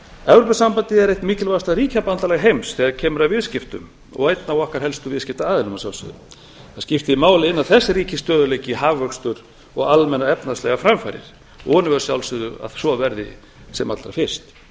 evrópusambandið er eitt mikilvægasta ríkjabandalag heims þegar kemur að viðskiptum og einn af okkar helstu viðskiptaaðilum að sjálfsögðu það skiptir máli að innan þess ríki stöðugleiki hagvöxtur og almennar efnahagslegar framfarir vonum við að sjálfsögðu að svo verði sem allra fyrst